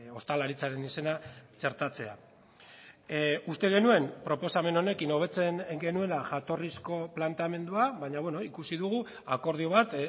ostalaritzaren izena txertatzea uste genuen proposamen honekin hobetzen genuela jatorrizko planteamendua baina ikusi dugu akordio bat